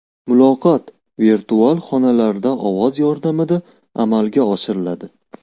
Muloqot virtual xonalarda ovoz yordamida amalga oshiriladi.